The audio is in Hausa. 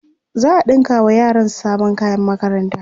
za'a ɗinka wa yaran sabon kayan makaranta